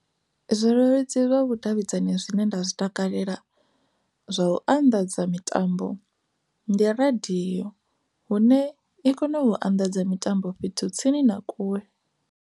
Zwileludzi zwa vhudavhidzani zwine nda zwi takalela zwa u anḓadza mitambo ndi radiyo hune i kona u anḓadza mitambo fhethu tsini na kule.